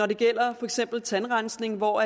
det gælder for eksempel tandrensning hvor